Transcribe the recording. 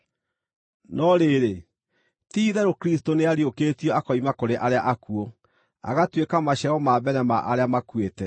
No rĩrĩ, ti-itherũ Kristũ nĩariũkĩtio akoima kũrĩ arĩa akuũ, agatuĩka maciaro ma mbere ma arĩa makuĩte.